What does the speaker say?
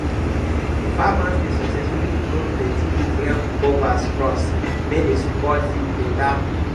farmers dey sucessfully grow plenti different cover crops make di soil fit beta